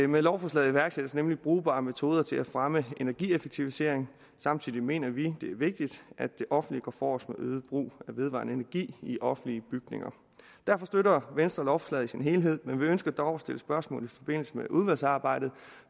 med lovforslaget iværksættes nemlig brugbare metoder til at fremme energieffektivisering samtidig mener vi det er vigtigt at det offentlige går forrest med øget brug af vedvarende energi i offentlige bygninger derfor støtter venstre lovforslaget i sin helhed men vi ønsker dog at stille spørgsmål i forbindelse med udvalgsarbejdet